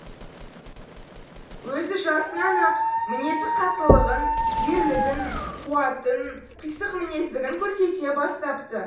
өзі жасынан ақ мінезі қаттылығын ерлігін қуатын қисық мінез дігін көрсете бастапты